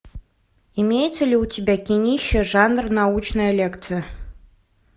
имеется ли у тебя кинище жанр научная лекция